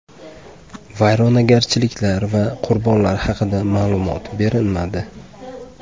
Vayronagarchiliklar va qurbonlar haqida ma’lumot berilmadi.